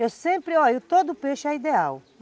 Eu sempre, olha, todo peixe é ideal.